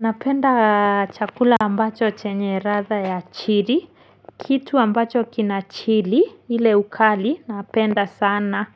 Napenda chakula ambacho chenye ladha ya chili, kitu ambacho kinachili ile ukali napenda sana